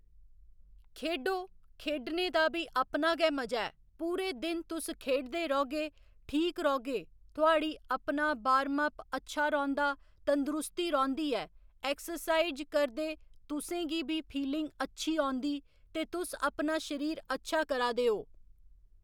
खेढो खेढने दा बी अपना गै मजा ऐ पूरे दिन तुस खेढदे रौह्‌गे ठीक रौह्‌गे थुहाड़ी अपना वार्म अप अच्छा रौंह्‌दा तंदरुस्ती रौंह्‌दी ऐ एक्सरसाईज करदे तुसेंगी बी फीलिंग अच्छी औंदी जे तुस अपना शरीर अच्छा करा दे ओ